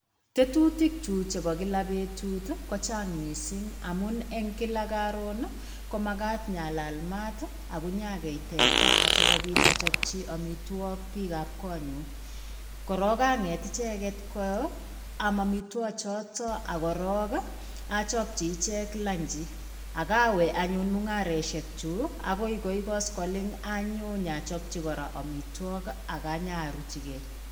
Tetutikyuk chebo kila betut ko chang mising amun eng kila karon ii komagat inyalal mat ak inyagei teta sogopit achopchi amitwogik biikab konyu. Korog anget icheget koam amitwogik choto ak korok achopchi icheg lunchi ak awe anyun mungaresiekyuk agoi koi koskoleny anyo achapchi kora amitwog ak anyaruchigei.